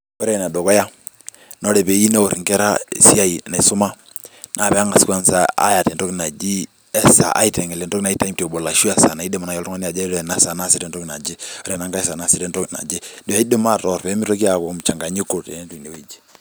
Ore enedukuya naa ore piyieu neorr inkera saai naisumare, naa oeegaz aaku ketaa entoki naji esaa, aitegel entoki naji time table ashu esaa naidim naai oltungani ajo ore enaa saa naasita entoki naje, ore enkae saa naasita enaje, neidim atorrerr peemeitoki aaku mchanganyiko naa tine wueji.